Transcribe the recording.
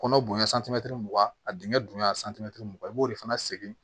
Kɔnɔ bonya mugan a dingɛ bonya mugan i b'o de fana segin